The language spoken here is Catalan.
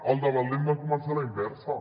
el debat l’hem de començar a la inversa